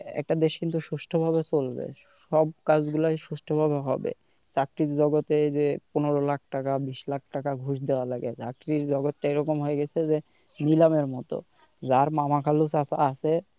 একটা দেশ কিন্তু সুষ্ঠুভাবে চলবে সব কাজগুলোই সুষ্ঠুভাবে হবে চাকরির জগতে যে পনের লাখ টাকা বিশ লাখ টাকা ঘুষ দেওয়া লাগে চাকরির জগৎটা এরকম হয়ে গেছে যে নিলামের মত যার মামা-খালু চাচা আছে,